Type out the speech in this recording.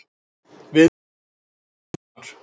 Viðræður um makríl hafnar